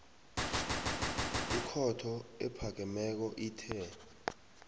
ikhotho ephakemeko ithe